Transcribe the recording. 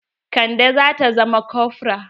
Kande zata zama kofra.